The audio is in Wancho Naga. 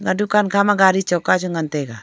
dukan khama gaari choka chu ngan tai ga.